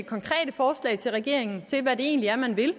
ikke til regeringen til hvad det egentlig er man vil